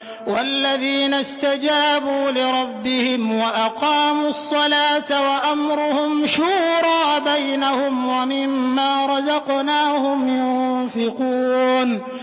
وَالَّذِينَ اسْتَجَابُوا لِرَبِّهِمْ وَأَقَامُوا الصَّلَاةَ وَأَمْرُهُمْ شُورَىٰ بَيْنَهُمْ وَمِمَّا رَزَقْنَاهُمْ يُنفِقُونَ